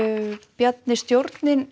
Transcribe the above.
Bjarni stjórnin